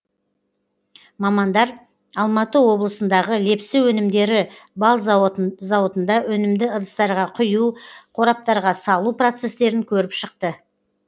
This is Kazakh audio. мамандар алматы облысындағы лепсі өнімдері бал зауытында өнімді ыдыстарға құю қораптарға салу процестерін көріп шықты